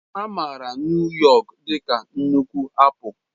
A maara Nuu yọk dị ka nnukwu apụl.